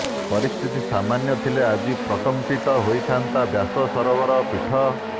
ପରିସ୍ଥିତି ସାମାନ୍ୟ ଥିଲେ ଆଜି ପ୍ରକମ୍ପିତ ହେଉଥାନ୍ତା ବ୍ୟାସ ସରୋବର ପୀଠ